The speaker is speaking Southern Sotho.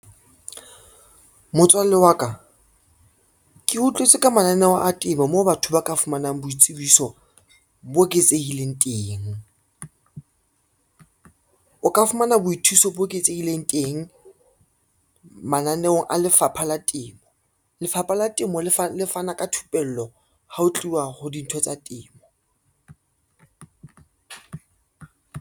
Motswalle wa ka, ke utlwetse ka mananeo a temo, moo batho ba ka fumanang boitsebiso bo eketsehileng teng. O ka fumana boithuso bo eketsehileng teng mananeong a lefapha la temo. Lefapha la temo le fana ka thupello ha ho tluwa ho dintho tsa temo.